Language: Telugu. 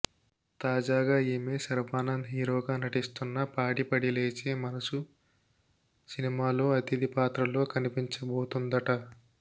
తాజాగా ఈమె శర్వానంద్ హీరోగా నటిస్తున్న పాడిపడిలేచే మనసు సినిమాలో అతిధి పాత్రలో కనిపించబోతుందట